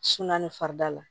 Sunan ni farida la